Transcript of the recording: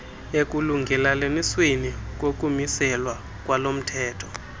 ekulungelelanisweni kokumiselwa kwalomthetho